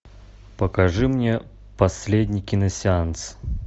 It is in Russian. покажи мне последний киносеанс